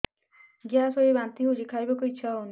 gas ହୋଇ ବାନ୍ତି ହଉଛି ଖାଇବାକୁ ଇଚ୍ଛା ହଉନି